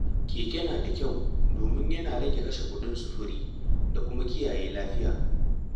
Keke na da kyau domin yana rage kashe kuɗin sufuri da kuma kiyaye lafiya.